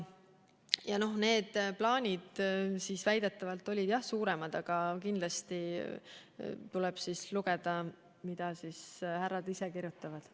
Need plaanid olid väidetavalt, jah, suuremad, aga kindlasti tuleb lugeda, mida härrad ise kirjutavad.